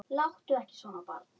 Láttu ekki svona barn.